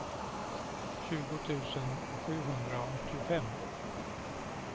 tjugo tusen sjuhundraåttiofem